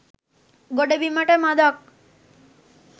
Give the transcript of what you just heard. ගොඩබිමට මඳක්